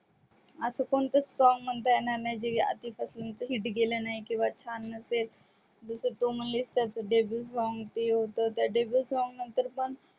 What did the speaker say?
आस कोणतच song म्हणता येणार नाही जे आधी पासून hit गेल नाही किंवा छान नसेल जस तू म्हणलीस तस त्या सोंग नंतर पण